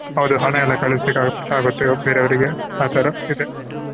ಹೌದು ಹಣಯೆಲ್ಲಾ ಕಳ್ಸಲಿಕ್ಕ ಆಗುತ್ತೆ ಬೇರೆಯವ್ರಿಗೆ ಆ ತರಾ ಇದೆ.